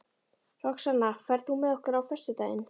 Roxanna, ferð þú með okkur á föstudaginn?